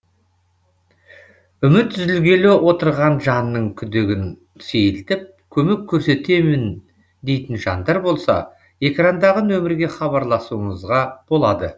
үміт үзілгелі отырған жанның күдігін сейілтіп көмек көрсетемін дейтін жандар болса экрандағы нөмірге хабарласуларыңызға болады